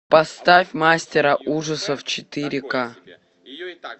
поставь мастера ужасов четыре к